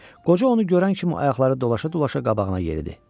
Qoca onu görən kimi ayaqları dolaşa-dolaşa qabağına yeridi.